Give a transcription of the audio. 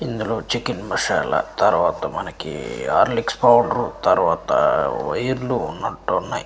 ఇందులో చికెన్ మసాలా తర్వాత మనకి ఆర్లిక్స్ పౌడరు తర్వాత వైర్లు ఉన్నట్టున్నాయ్.